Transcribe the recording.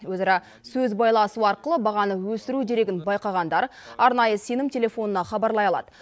өзара сөз байласу арқылы бағаны өсіру дерегін байқағандар арнайы сенім телефонына хабарлай алады